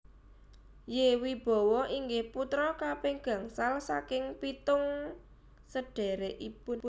Y Wibowo inggih putra kaping gangsal saking pitung sedhèrèkipun